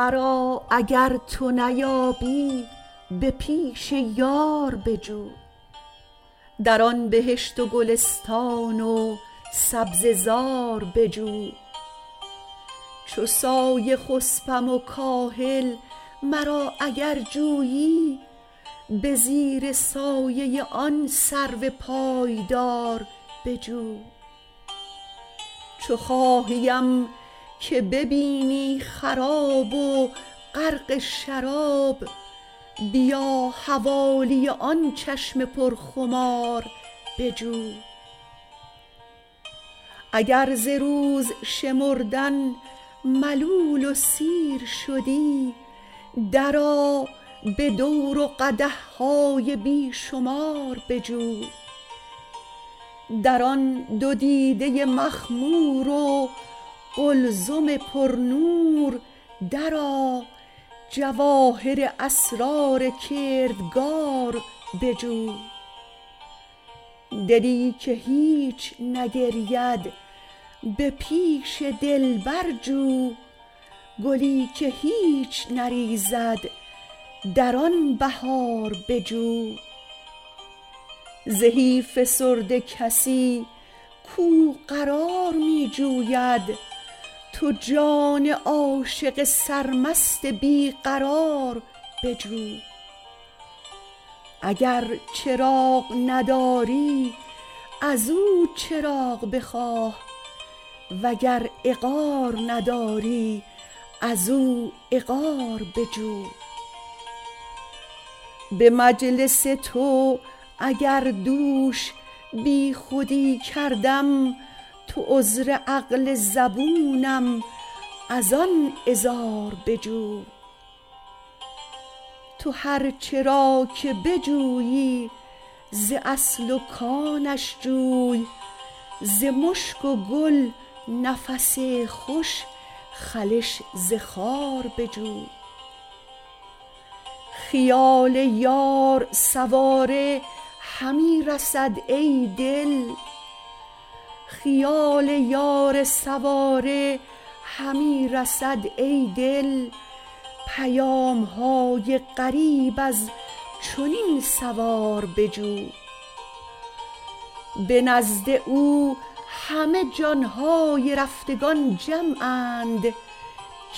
مرا اگر تو نیابی به پیش یار بجو در آن بهشت و گلستان و سبزه زار بجو چو سایه خسپم و کاهل مرا اگر جویی به زیر سایه آن سرو پایدار بجو چو خواهیم که ببینی خراب و غرق شراب بیا حوالی آن چشم پرخمار بجو اگر ز روز شمردن ملول و سیر شدی درآ به دور و قدح های بی شمار بجو در آن دو دیده مخمور و قلزم پرنور درآ جواهر اسرار کردگار بجو دلی که هیچ نگرید به پیش دلبر جو گلی که هیچ نریزد در آن بهار بجو زهی فسرده کسی کو قرار می جوید تو جان عاشق سرمست بی قرار بجو اگر چراغ نداری از او چراغ بخواه وگر عقار نداری از او عقار بجو به مجلس تو اگر دوش بیخودی کردم تو عذر عقل زبونم از آن عذار بجو تو هر چه را که بجویی ز اصل و کانش جوی ز مشک و گل نفس خوش خلش ز خار بجو خیال یار سواره همی رسد ای دل پیام های غریب از چنین سوار بجو به نزد او همه جان های رفتگان جمعند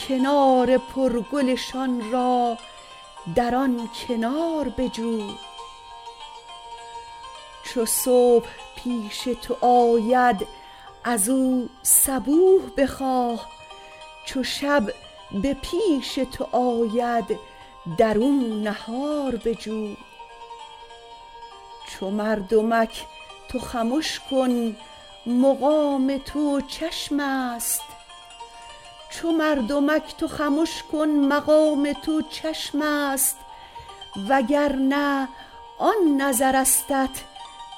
کنار پرگلشان را در آن کنار بجو چو صبح پیش تو آید از او صبوح بخواه چو شب به پیش تو آید در او نهار بجو چو مردمک تو خمش کن مقام تو چشم است وگر نه آن نظرستت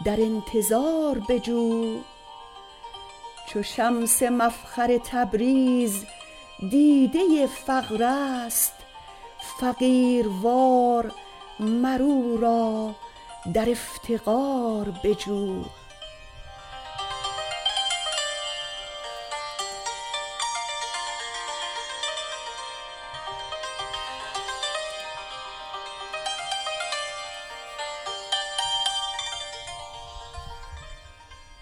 در انتظار بجو چو شمس مفخر تبریز دیده فقر است فقیروار مر او را در افتقار بجو